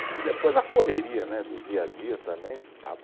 E depois a correria né, do dia a dia também